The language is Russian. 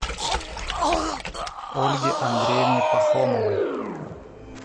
ольге андреевне пахомовой